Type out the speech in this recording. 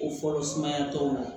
O fɔlɔ sumaya t'anw na